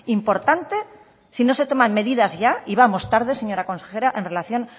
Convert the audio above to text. importante si no se toma medidas ya y vamos tarde señora consejera en relación